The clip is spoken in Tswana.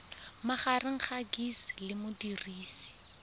magareng ga gcis le modirisi